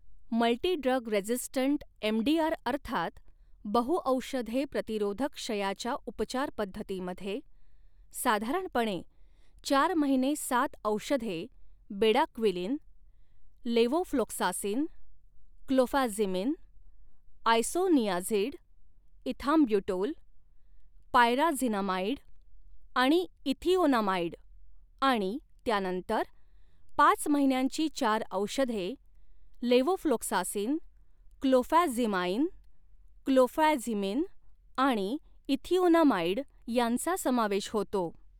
Multi drug resistant MDR अर्थात बहुऔषधे प्रतिरोधक क्षयाच्या उपचार पद्धतीमध्ये साधारणपणे चार महिने सात औषधे bedaquiline, levofloxacin, clofazimine, isoniazid, ethambutol, pyrazinamide आणि इथिओनामाइड आणि त्यानंतर पाच महिन्यांची चार औषधे लेव्होफ्लॉक्सासिन, क्लोफॅझिमाइन, क्लोफॅझिमिन आणि इथिओनामाइड यांचा समावेश होतो.